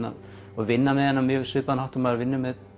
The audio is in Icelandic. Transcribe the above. og vinna með hana á mjög svipaðan hátt og maður vinnur með